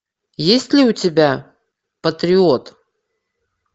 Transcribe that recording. есть ли у тебя патриот